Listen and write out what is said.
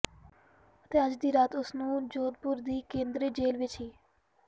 ਅਤੇ ਅੱਜ ਦੀ ਰਾਤ ਉਸ ਨੂੰ ਜੋਧਪੁਰ ਦੀ ਕੇਂਦਰੀ ਜੇਲ੍ਹ ਵਿਚ ਹੀ